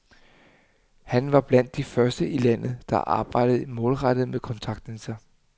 Han var blandt de første i landet, der arbejdede målrettet med kontaktlinser.